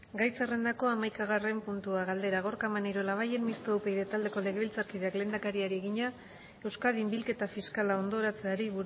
gai zerrendako hamaikagarren puntua galdera gorka maneiro labayen mistoa upyd taldeko legebiltzarkideak lehendakariari egina euskadin bilketa fiskala hondoratzeari